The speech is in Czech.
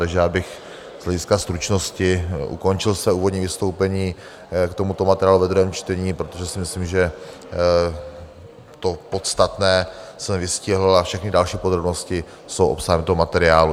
Takže já bych z hlediska stručnosti ukončil své úvodní vystoupení k tomuto materiálu ve druhém čtení, protože si myslím, že to podstatné jsem vystihl, a všechny další podrobnosti jsou obsahem toho materiálu.